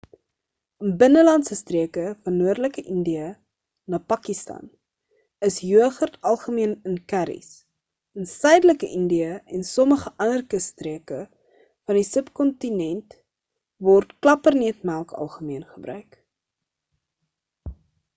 in binnelandse streke van noordelike indië en pakistan is joghurt algemeen in kerries in suidelike indië en sommige ander kusstreke van die subcontinent word klapperneutmelk algemeen gebruik